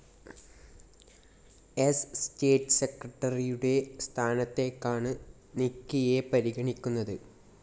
സ്‌ സ്റ്റേറ്റ്‌ സെക്രട്ടറിയുടെ സ്ഥാനത്തേക്കാണ് നിക്കിയെ പരിഗണിക്കുന്നത്